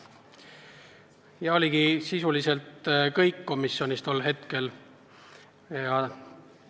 Ja oligi sisuliselt kõik, mis komisjonis tol korral arutati.